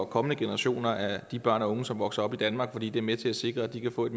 kommende generationer af børn og unge som vokser op i danmark fordi det er med til at sikre at de kan få et